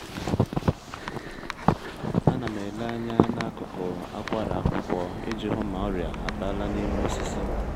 a na m ele anya n’akụkụ akwara akwụkwọ iji hụ ma ọrịa abala n’ime osisi